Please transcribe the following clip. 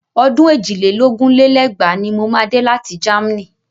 Ọdún èjì lé lógún lé lẹ́gbàá ni mo máa dé láti Germany.